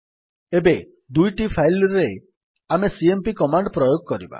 ଏବେ ଏହି ଦୁଇ ଫାଇଲ୍ ରେ ଆମେ ସିଏମ୍ପି କମାଣ୍ଡ୍ ପ୍ରୟୋଗ କରିବା